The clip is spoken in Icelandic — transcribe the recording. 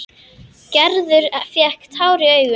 Gerður fékk tár í augun.